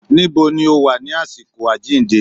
Níbo ni ó Wà ní àsìkò àjíǹde?